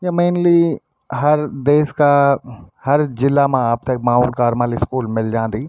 या मैनली हर देश का हर जिला मा आपथे माउंट कारमेल स्कूल मिल जान्दी।